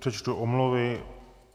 Přečtu omluvy.